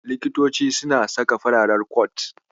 Likitoci suna saka farar kot.